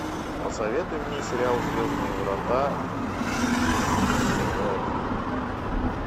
посоветуй мне сериал звездные врата зв один